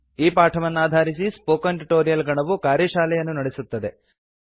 ಈ ಪಾಠವನ್ನಾಧಾರಿಸಿ spoken tutorial ಗಣವು ಕಾರ್ಯಶಾಲೆಯನ್ನು ನಡೆಸುತ್ತದೆ